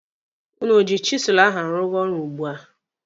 Ụnụ oji chisụlụ ahụ arụga ọrụ ugbua?